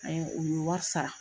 Ayi u ye wari sara.